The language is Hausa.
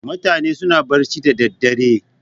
Mutane suna barci da daddare.